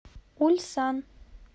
ульсан